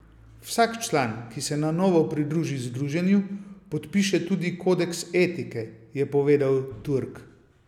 Vsak član, ki se na novo pridruži združenju, podpiše tudi kodeks etike, je povedal Turk.